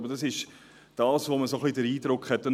Aber das ist ein wenig der Eindruck, den man hat.